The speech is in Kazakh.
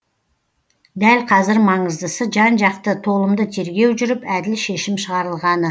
дәл қазір маңыздысы жан жақты толымды тергеу жүріп әділ шешім шығарылғаны